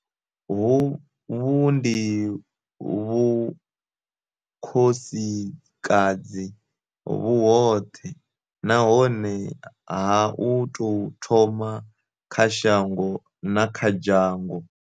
Hovhu ndi Vhukhosikadzi vhu hoṱhe nahone ha u tou thoma kha shango na kha dzhango.